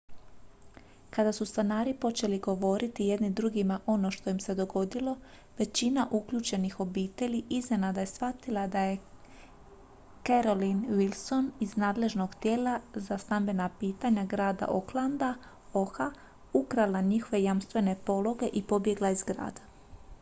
kada su stanari počeli govoriti jedni drugima ono što im se dogodilo većina uključenih obitelji iznenada je shvatila da je carolyn wilson iz nadležnog tijela za stambena pitanja grada oaklanda oha ukrala njihove jamstvene pologe i pobjegla iz grada